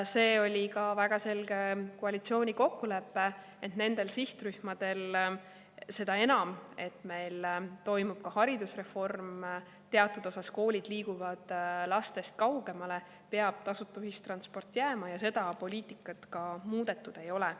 See oli ka väga selge koalitsiooni kokkulepe, et nendel sihtrühmadel – seda enam, et meil toimub ka haridusreform, teatud osas koolid lastest kaugemale – peab tasuta ühistransport jääma ja seda poliitikat muudetud ei ole.